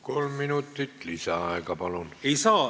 Kolm minutit lisaaega, palun!